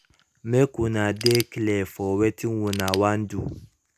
mk una de clear for wetin una wan do